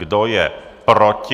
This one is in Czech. Kdo je proti?